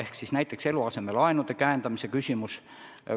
On ju näiteks eluasemelaenude käendamise küsimus.